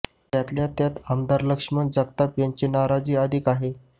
त्यातल्या त्यात आमदार लक्षमण जगताप यांची नाराजी अधिक आहे